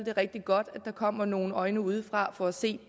er rigtig godt at der kommer nogle øjne udefra for at se